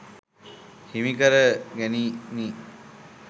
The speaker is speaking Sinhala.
හිමි කර ගැනිණි.